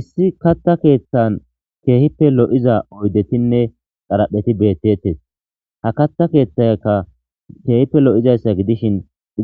issi katta keeththan keehippe lo7iza oydetinne xarapheti beettettes ha katta keeththayakka keehippe lo7izayssa gidishin